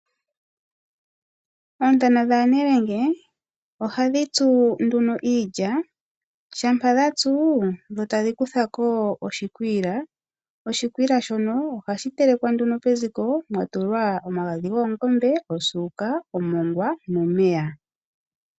Monale oontana dhanelende okwali dhasimaneka okutya iikwiila. Nonando taya tsu oyena uusila wokuteleka oyena tuu okuninga mo oshikwila shoka sha kala omboloto yakehe esiku. Ohaye shi teleke peziko yeshininga nomagadhi goongombe, osuuka, omongwa nosho woo omeya.